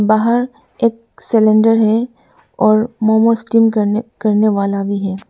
बाहर एक सिलेंडर है और मोमोज स्टीम करने करने वाला भी है।